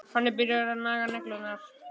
Hann er byrjaður að naga neglurnar.